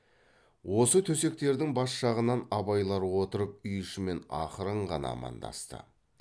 осы төсектердің бас жағынан абайлар отырып үй ішімен ақырын ғана амандасты